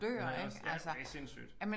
Det har jeg også ja det sindssygt